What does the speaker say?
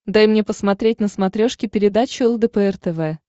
дай мне посмотреть на смотрешке передачу лдпр тв